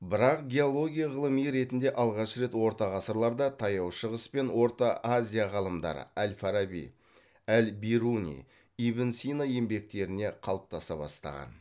бірақ геология ғылыми ретінде алғаш рет орта ғасырларда таяу шығыс пен орта азия ғалымдары әл фараби әл бируни ибн сина еңбектеріне қалыптаса бастаған